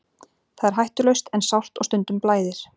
Það er hættulaust en sárt og stundum blæðir.